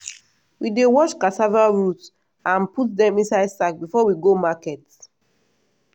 we dey wash cassava root and put dem inside sack before we go market.